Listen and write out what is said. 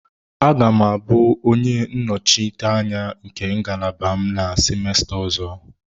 Aga m abụ onye nnọchiteanya nke ngalaba m na semester ọzọ.